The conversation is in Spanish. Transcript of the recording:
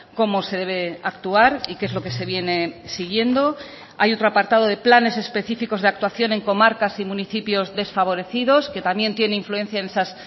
cómo se debe actuar y qué es lo que se viene siguiendo hay otro apartado de planes específicos de actuación en comarcas y municipios desfavorecidos que también tiene influencia en esas